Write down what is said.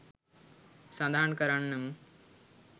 සදහන් කරන්නමු